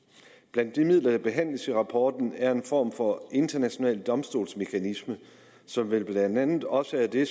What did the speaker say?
blandt de midler der behandles i rapporten er en form for international domstolsmekanisme som vel blandt andet også er det